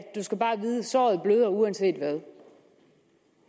du skal bare vide at såret bløder uanset hvad